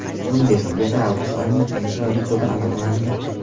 Bundesligada avgust oyining eng chiroyli goli aniqlandi .